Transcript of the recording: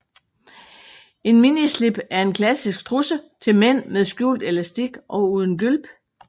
En minislip er en klassisk trusse til mænd med skjult elastik og uden gylp